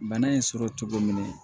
Bana in sɔrɔ cogo min